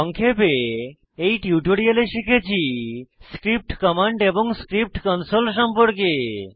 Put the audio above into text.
সংক্ষেপে এই টিউটোরিয়ালে শিখেছি স্ক্রিপ্ট কমান্ড এবং স্ক্রিপ্ট কনসোল সম্পর্কে